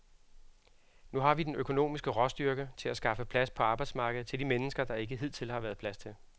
Nu har vi den økonomiske råstyrke til at skaffe plads på arbejdsmarkedet til de mennesker, der ikke hidtil har været plads til.